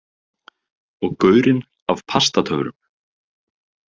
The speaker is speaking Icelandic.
Og gaurinn af Pastatöfrum.